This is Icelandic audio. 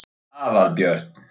Aðalbjörn